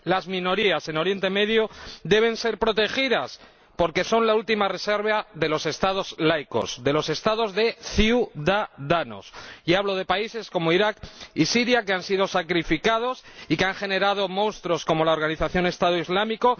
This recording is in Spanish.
Las minorías en Oriente Próximo deben ser protegidas, porque son la última reserva de los Estados laicos, de los Estados de ciudadanos. Y hablo de países como Irak y Siria, que han sido sacrificados y que han generado monstruos como la organización Estado Islámico.